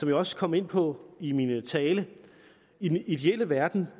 jeg også kom ind på i min tale i den ideelle verden